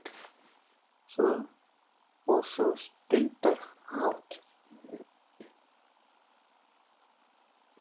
Og svo stundarhátt